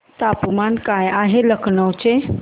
तापमान काय आहे लखनौ चे